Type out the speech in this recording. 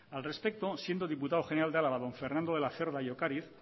al respecto siendo diputado general de álava don fernando de la de ocariz